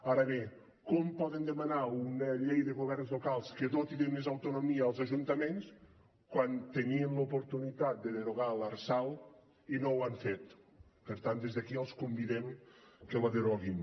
ara bé com poden demanar una llei de governs locals que doti de més autonomia els ajuntaments quan tenien l’oportunitat de derogar l’lrsal i no ho han fet per tant des d’aquí els convidem que la deroguin